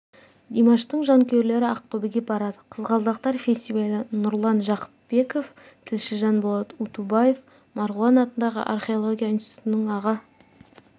димаштың жанкүйерлері ақтөбеге барады қызғалдақтар фестивалі нұрлан жақыпбеков тілші жанболат ұтубаев марғұлан атындағы археология институтының аға